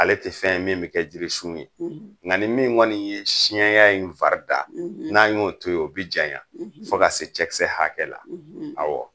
Ale te fɛn ye min be kɛ jirisun ye nka ni min kɔni ye siɲɛya in farida n'a y'o to ye o bi janya fo ka se cɛkisɛ hakɛ la awɔ